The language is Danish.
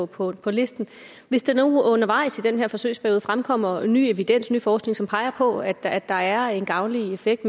på på listen hvis der nu undervejs i den her forsøgsperiode fremkommer ny evidens ny forskning som peger på at at der er en gavnlig effekt